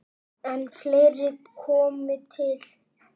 En fleira komi til.